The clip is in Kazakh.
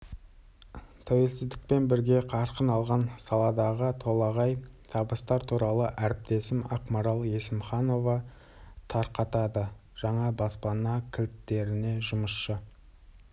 тәуелсіздікпен бірге қарқын алған саладағы толағай табыстар туралы әріптесім ақмарал есімханова тарқатады жаңа баспана кілттеріне жұмысшы